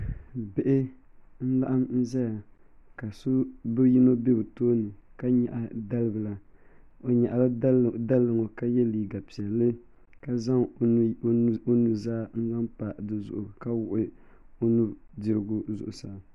Bihi n laɣam ƶɛya ka bi yino bɛ bi tooni ka nyaɣa dalibila o nyaɣala dalibila ka yɛ liigq piɛlli ka zaŋ o nuzaa n zaŋ pa dizuɣu ka wuɣi o nudirigu zuɣusaa